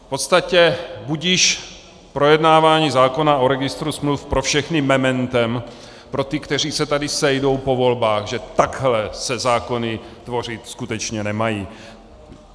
V podstatě budiž projednávání zákona o registru smluv pro všechny mementem, pro ty, kteří se tady sejdou po volbách, že takhle se zákony tvořit skutečně nemají.